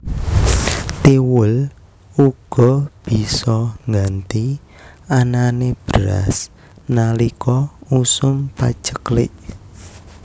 Thiwul uga bisa ngganti anané beras nalika usum paceklik